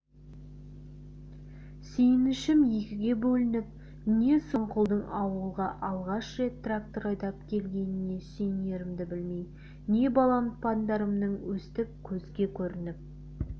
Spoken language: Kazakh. сүйінішім екіге бөлініп не субанқұлдың ауылға алғаш рет трактор айдап келгеніне сүйінерімді білмей не балапандарымның өстіп көзге көрініп